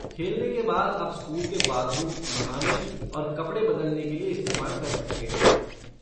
खेलने के बाद आप स्कूल के बाथरूम नहाने और कपड़े बदलने के लिए इस्तेमाल कर सकते हैं।